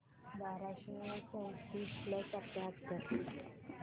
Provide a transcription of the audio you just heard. बाराशे चौतीस प्लस अठ्याहत्तर